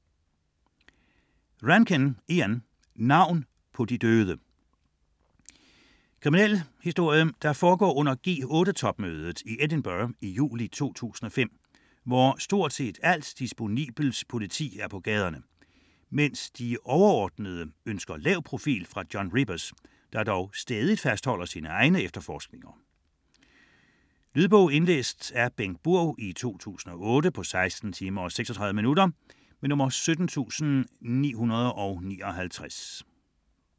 Rankin, Ian: Navn på de døde Krimi, der foregår under G8-topmødet i Edinburgh juli 2005, hvor stort set alt disponibelt politi er på gaderne, mens de overordnede ønsker lav profil fra John Rebus, der dog stædigt fastholder sine egne efterforskninger. Lydbog 17959 Indlæst af Bengt Burg, 2008. Spilletid: 16 timer, 36 minutter.